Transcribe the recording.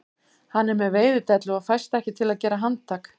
Hann er með veiðidellu og fæst ekki til að gera handtak